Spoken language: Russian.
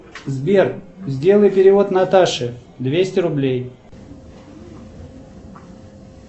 сбер сделай перевод наташе двести рублей